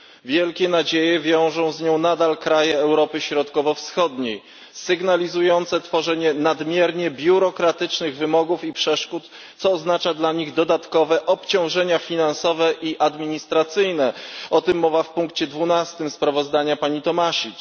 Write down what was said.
Wielkie nadzieje wiążą z nią nadal kraje Europy Środkowo Wschodniej sygnalizujące tworzenie nadmiernie biurokratycznych wymogów i przeszkód, co oznacza dla nich dodatkowe obciążenia finansowe i administracyjne o tym mowa w punkcie dwunastym sprawozdania pani Tomašić.